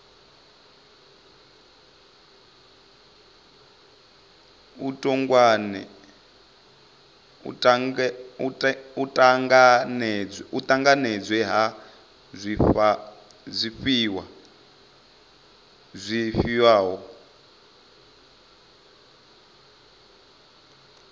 u ṱanganedzwa ha zwifhiwa zwifhio